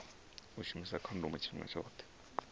u shumisa khondomo tshifhinga tshoṱhe